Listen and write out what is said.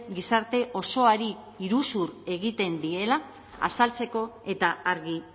gizarte osoari iruzur egiten diela azaltzeko eta argi